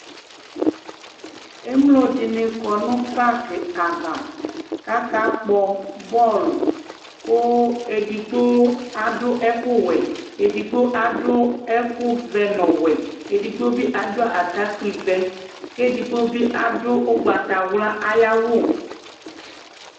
Émlo dini kɔ nu parki ava, aka kpɔ bɔl ku edigbo adu ɛku wuɛ, édigbo adu ɛku vɛ nɔ ɔwuɛ , édigbo bi adu atakpi ʋɛ, ké edigbo bi a du ugbatawla ayi awu